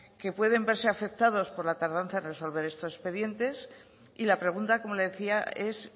que pueden verse afectados por la tardanza en resolver estos expediente y la pregunta como le decía es